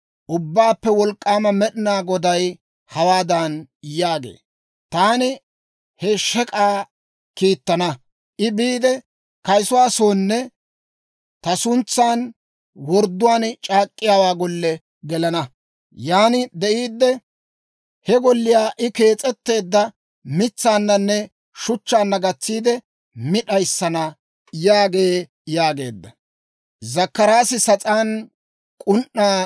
Ubbaappe Wolk'k'aama Med'inaa Goday hawaadan yaagee; ‹Taani he shek'k'aa kiittana; I biide, kayisuwaa soonne ta suntsan wordduwaan c'aak'k'iyaawaa golle gelana; yan de'iidde, he golliyaa I kees'etteedda mitsaananne shuchchaanna gatsiide, mi d'ayissana› yaagee» yaageedda.